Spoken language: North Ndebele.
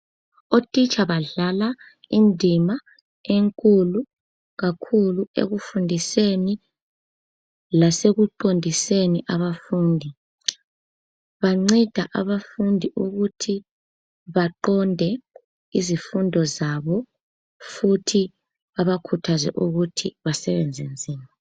Otitsha badlala indima enkulu kakhulu ekufundiseni lasekuqondiseni abafundi. Banceda abafundi ukuthi baqonde izifundo zabo futhi babakhuthaze ukuthi basebenze nzima.